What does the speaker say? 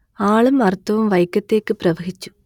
ആളും അർത്ഥവും വൈക്കത്തേക്ക് പ്രവഹിച്ചു